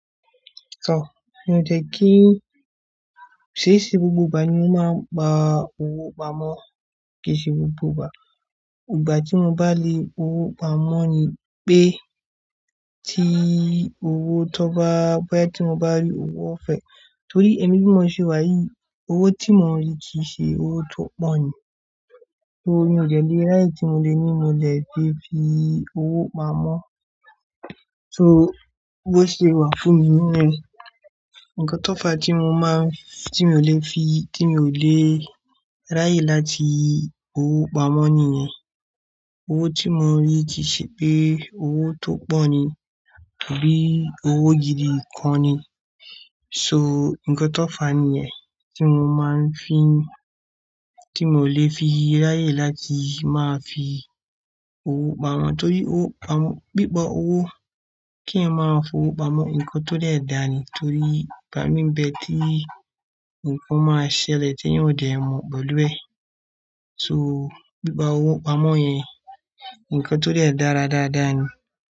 Tò, mí ò dẹ̀ kí, ṣe e ṣe gbogbo ìgbà ni mo máa ń gba owó pamọ́, kì í ṣe gbogbo ìgbà. Ìgbà tí mo bá lé owó pamọ́ ni pé tí owó tó bá, bóyá tí mo bá rí owó ọ̀fẹ́. Torí èmi bí mo ṣe wá yìí, owó tí mo ń rí kì í ṣe owó tó pọ̀ ni. So mí ò dẹ̀ lè ráyè tí mo le ní mo lè fi fi owó pamọ́. So bó ṣe wà fún mi nìyẹn, ǹkan tó fà tí mo máa, tí mi ò lè fi, tí mi ò lè ráyè láti owó pamọ́ nìyẹn. Owó tí mo ń rí kì í ṣe pé owó tó pọ̀ ni tà bí owó gidi kan ni. So ǹkan tó fà nìyẹn, tí mo máa ń fi ń tí mi o lè fi ráyè láti máa fi owó pamọ́. Torí owó pamọ́, bí bá owó kí ẹ máa fowó pamọ́, ǹkan tó dẹ̀ dáa ni. Torí ìgbà mí ń bẹ tí ǹkan máa ṣẹlẹ̀ t’èèyàn ò dẹ̀ mọ̀ pẹ̀lú ẹ̀. So bí bá owó pamọ́ yẹn, ǹkan tó dẹ̀ dára dáadáa ni.